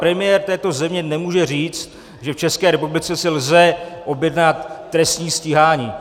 Premiér této země nemůže říct, že v České republice si lze objednat trestní stíhání.